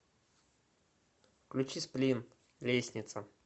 включи сплин лестница